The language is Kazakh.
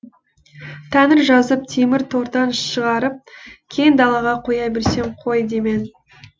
тәңір жазып темір тордан шығарып кең далаға қоя берсең қой демен